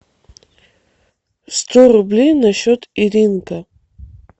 сто рублей на счет иринка